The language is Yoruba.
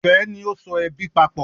Ìfẹ ni o so ẹbí papọ.